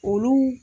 Olu